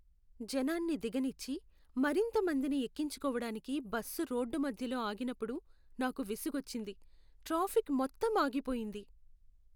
జనాన్ని దిగనిచ్చి, మరింత మందిని ఎక్కించుకోవటానికి బస్సు రోడ్డు మధ్యలో ఆగినప్పుడు నాకు విసుగొచ్చింది. ట్రాఫిక్ మొత్తం ఆగిపోయింది.